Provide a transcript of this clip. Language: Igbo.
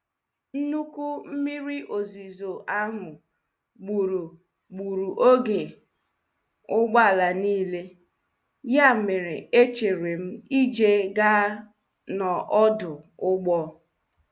Nnukwu mmiri ozuzo ahụ gburu gburu oge ụgbọala niile, ya mere echerem ije gaa n'odụ ụgbọ.